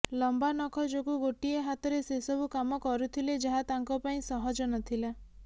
ଲମ୍ବା ନଖ ଯୋଗୁଁ ଗୋଟିଏ ହାତରେ ସେସବୁ କାମ କରୁଥିଲେ ଯାହା ତାଙ୍କ ପାଇଁ ସହଜ ନ ଥିଲା